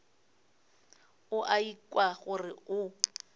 o a ikwa gore o